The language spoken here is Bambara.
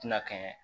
Tɛna kɛ